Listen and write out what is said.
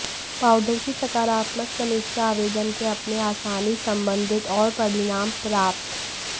powder की सकारात्मक समीक्षा आवेदन के अपने आसानी संबंधित और परिणाम प्राप्त